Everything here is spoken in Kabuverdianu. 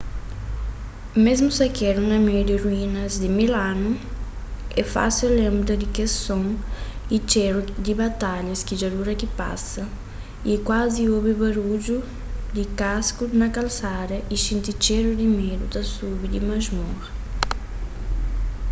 mésmu sakedu na meiu di ruínas di mil anu é fásil lenbra di kes son y txéru di batalhas ki dja dura ki pasa y kuazi obi barudju di kasku na kalsada y xinti txéru di medu ta subi di masmora